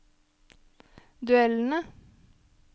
duellene